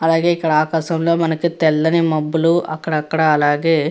అలాగే ఇక్కడ ఆకాశం లో మనకి తెల్లని మబ్బులు అక్కడక్కడా అలాగే --